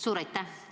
Suur aitäh!